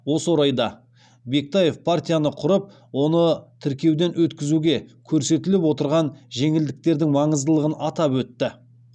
осы орайда бектаев партияны құрып оны тіркеуден өткізуге көрсетіліп отырған жеңілдіктердің маңыздылығын атап өтті